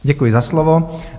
Děkuji za slovo.